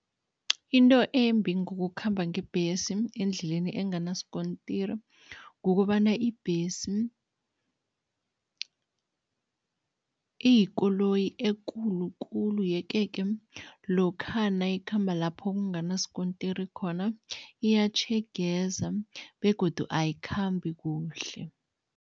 Into embi ngokukhamba ngebhesi endleleni enganasikontiri kukobana ibhesi iyikoloyi ekulu kulu yeke-ke lokha nayikhamba lapho kunganasikontiri khona, iyatjhegeza begodu ayikhambi kuhle.